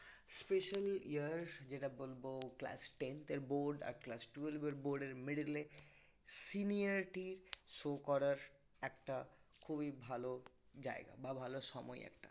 special year যেটা বলবো class tenth এর board আর class twelve এর board এর middle এ senior টি show করার একটা খুবই ভালো জায়গা বা ভালো সময় একটা